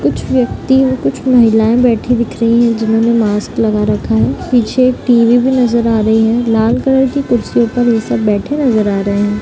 कुछ व्यक्ति हैं कुछ महिलाएं बैठी हुई दिखाई दे रही हैं जिन्होंने मास्क लगा रखा है और टी.वी. भी दिख रही है लाल रंग की कुर्सी पर बैठे नजर आ रहे हैं ।